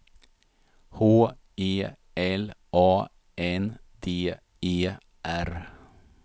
H E L A N D E R